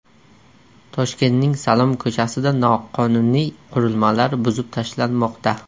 Toshkentning Salom ko‘chasida noqonuniy qurilmalar buzib tashlanmoqda.